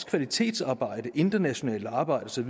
kvalitetsarbejde internationalt arbejde